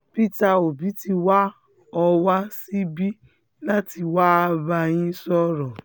peter obi ti wá um ọ wá síbí láti wáá bá yín um sọ̀rọ̀